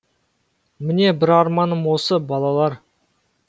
міне бір арманым осы балалар